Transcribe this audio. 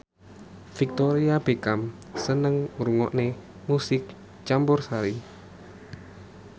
Victoria Beckham seneng ngrungokne musik campursari